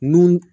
Nun